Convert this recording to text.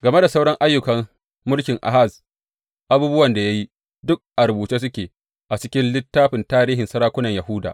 Game da sauran ayyukan mulkin Ahaz, abubuwan da ya yi, duk a rubuce suke a cikin littafin tarihin sarakunan Yahuda.